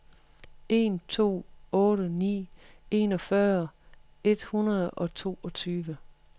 en to otte ni enogfyrre et hundrede og toogtyve